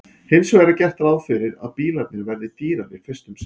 hins vegar er gert ráð fyrir að bílarnir verði dýrari fyrst um sinn